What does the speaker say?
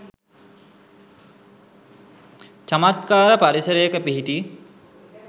චමත්කාර පරිසරයක පිහිටි